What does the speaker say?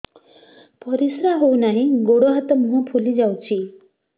ପରିସ୍ରା ହଉ ନାହିଁ ଗୋଡ଼ ହାତ ମୁହଁ ଫୁଲି ଯାଉଛି